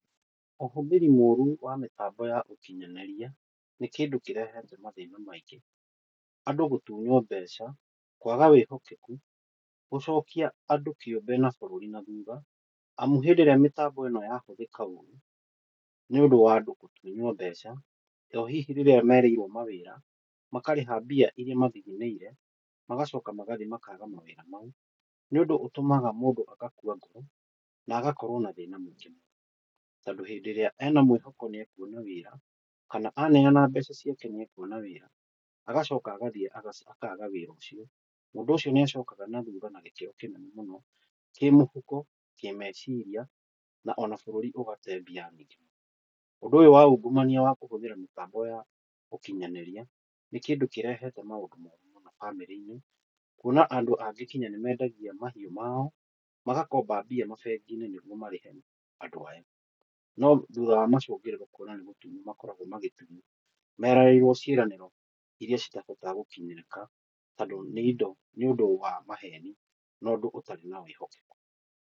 Ũhũthĩri mũru wa mĩtanbo ya ũkinyanĩria, nĩ kĩndũ kĩrehete mathĩna maingĩ, andũ gũtunywo mbeca, kwaga wĩhokeku, gũcokia andũ kĩũmbe na bũrũri na thutha, amu hĩndĩ ĩrĩa mĩtambo ĩno yahũthĩka ũru, nĩ ũndũ wa andũ gũtunywo mbeca, nao hihi rĩrĩa merĩirwo mawĩra, makarĩha mbia iria mathithinĩire, magacoka magathiĩ makaga mawĩra mau. Nĩ ũndũ ũtũmaga mũndũ agakua ngoro, na agakorwo na thĩna mũingĩ, tondũ hĩndĩ ĩrĩa ena mwĩhoko nĩ akuona wĩra, kana aneana mbeca ciake nĩ ekuona wĩra, agacoka agathiĩ akaga wĩra ũcio, mũndũ ũcio nĩ acokaga na thutha na gĩkĩro kĩnene mũno, kĩ mũhuko, kĩ meciria, na ona bũrũri ũgate mbia nyingĩ. Ũndũ ũyũ wa ũngumania wa kũhũthĩra mĩtambo ya ũkinyanĩria, nĩ kĩndũ kĩrehete maũndũ moru mũno bamĩrĩ-inĩ, kuona andũ angĩ nginya nĩ mendagia mahiũ mao, magakomba mbia mabengi-inĩ nĩguo marĩhe andũ aya, no thutha wa macũngĩrĩro kuona nĩ gũtunywo makoragwo magĩtunywo, meranĩirwo ciĩranĩro iria citahotaga gũkinyĩrĩka, tondũ nĩ ũndũ wa maheni na ũndũ ũtarĩ na wĩhokeku.